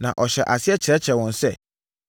Na ɔhyɛɛ aseɛ kyerɛkyerɛɛ wɔn sɛ,